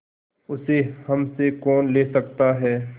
उसे हमसे कौन ले सकता है